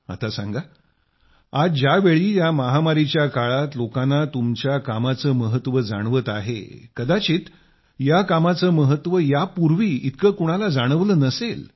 आता जर सांगा आज ज्यावेळी या महामारीच्या काळात लोकांना तुमच्या कामाचं महत्व जाणत आहेत कदाचित या कामाचं महत्व यापूर्वी इतकं कुणाला जाणवलं नसेल